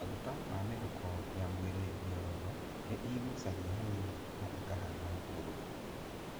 Maguta na mĩhuko ya mwĩrĩ mĩororo nĩ ĩgucagia hanini na ĩkahana mũruru.